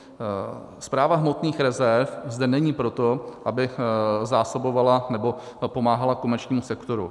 Správa hmotných rezerv zde není proto, aby zásobovala nebo pomáhala komerčnímu sektoru.